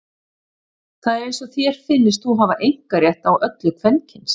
Það er eins og þér finnist þú hafa einkarétt á öllu kvenkyns.